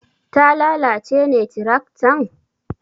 Ta lalace ne tiraktan?